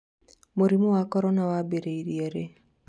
mũrimũ wa Korona wambĩrĩirie rĩ?